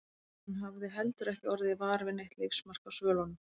Hann hafði heldur ekki orðið var við neitt lífsmark á svölunum.